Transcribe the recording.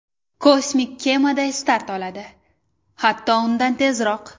Kosmik kemaday start oladi, hatto undan tezroq.